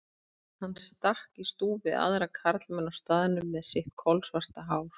Hann stakk í stúf við aðra karlmenn á staðnum með sitt kolsvarta hár.